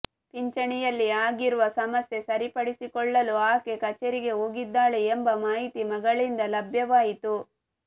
ಪಿಂಚಣಿಯಲ್ಲಿ ಆಗಿರುವ ಸಮಸ್ಯೆ ಸರಿಪಡಿಸಿಕೊಳ್ಳಲು ಆಕೆ ಕಚೇರಿಗೆ ಹೋಗಿದ್ದಾಳೆ ಎಂಬ ಮಾಹಿತಿ ಮಗಳಿಂದ ಲಭ್ಯವಾಯಿತು